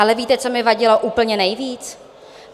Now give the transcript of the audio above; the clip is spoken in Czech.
Ale víte, co mi vadilo úplně nejvíc?